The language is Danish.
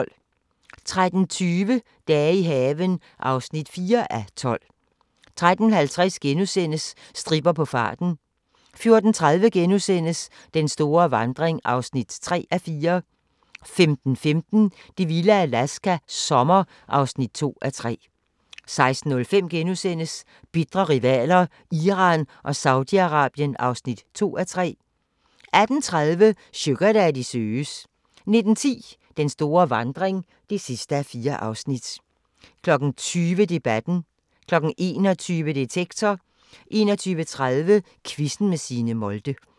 13:20: Dage i haven (4:12) 13:50: Stripper på farten * 14:30: Den store vandring (3:4)* 15:15: Det vilde Alaska – sommer (2:3) 16:05: Bitre rivaler: Iran og Saudi-Arabien (2:3)* 18:30: Sugardaddy søges 19:10: Den store vandring (4:4) 20:00: Debatten 21:00: Detektor 21:30: Quizzen med Signe Molde